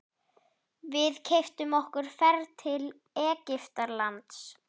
Við keyptum okkur ferð til Egyptalands.